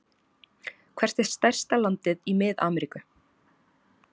Hvert er stærsta landið í Mið-Ameríku?